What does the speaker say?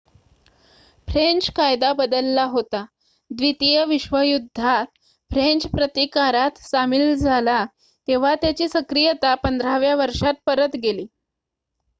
French कायदा बदलला होता द्वितीय विश्वयुद्धात फ्रेंच प्रतिकारात सामील झाला तेव्हा त्याची सक्रियता 15 व्या वर्षात परत गेली